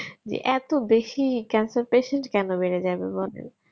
এত বেশি cancer patient কেন বেড়ে যাবে বলো